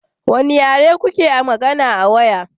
Wane yare kuke magana a waya?